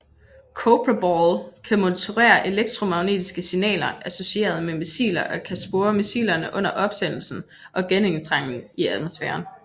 Cobra Ball kan monitorere elektromagnetiske signaler associeret med missiler og kan spore missilerne under opsendelsen og genindtrængen i atmosfæren